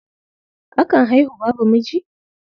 Akan haihu babu miji?